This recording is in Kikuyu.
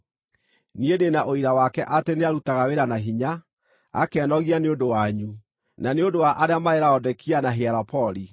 Niĩ ndĩ na ũira wake atĩ nĩarutaga wĩra na hinya, akenogia nĩ ũndũ wanyu, na nĩ ũndũ wa arĩa marĩ Laodikia na Hierapoli.